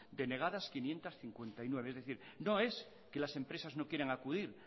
denegadas quinientos cincuenta y nueve es decir no es que las empresas no quieran acudir